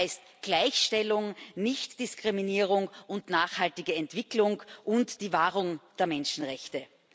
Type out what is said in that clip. Das heißt Gleichstellung, nicht Diskriminierung, nachhaltige Entwicklung und die Wahrung der Menschenrechte.